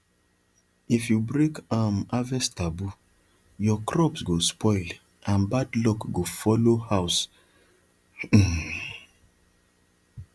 if you break um harvest taboo your crops go spoil and bad luck go follow house um